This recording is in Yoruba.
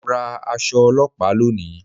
Mo ra aṣọ ọlọ́pàá lónìí